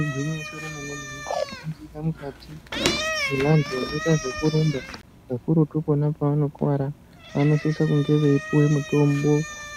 Igwinyiso re mene mene vano ningira mukati mwe vantu vanoita zveku rumba kakurutu pona pavano kwara vanosisa kunge veikupuwe mutombo